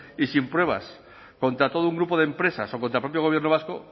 y sin pruebas contra todo un grupo de empresas o contra el propio gobierno vasco